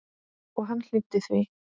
Og hann hlýddi því.